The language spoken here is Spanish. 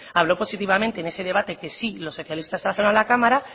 habló positivamente en ese debate que sí los socialistas trajeron a la cámara